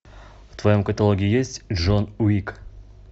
в твоем каталоге есть джон уик